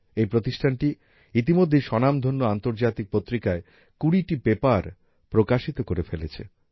এই প্রতিষ্ঠানটি ইতিমধ্যেই স্বনামধন্য আন্তর্জাতিক পত্রিকায় ২০টি পেপার প্রকাশিত করে ফেলেছে